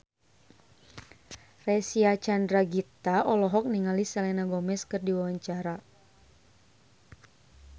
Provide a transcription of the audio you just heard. Reysa Chandragitta olohok ningali Selena Gomez keur diwawancara